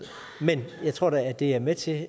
men jeg tror da at det er med til